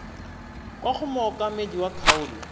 kwa go mookamedi wa kgaolo